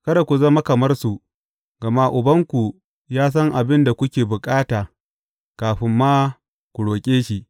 Kada ku zama kamar su, gama Ubanku ya san abin da kuke bukata kafin ma ku roƙe shi.